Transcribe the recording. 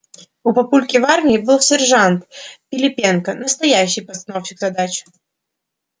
у папульки в армии был сержант пилипенко настоящий постановщик задач